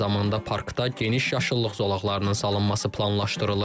Eyni zamanda parkda geniş yaşıllıq zonalarının salınması planlaşdırılır.